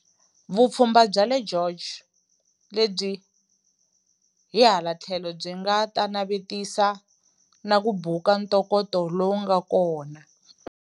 Vupfhumba bya le George, lebyi hi hala tlhelo byi nga ta navetisa na ku buka ntokoto lowu nga kona.